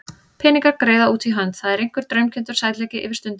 Peningar, greiða út í hönd, það er einhver draumkenndur sætleiki yfir stundinni.